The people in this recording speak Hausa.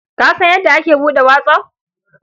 Ka san yadda a ake buɗe whatsApp?